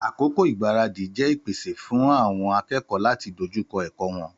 Àkókò igbaradi jẹ ìpèsè fún àwon akékòó láti dójúkọ èkó won